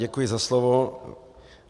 Děkuji za slovo.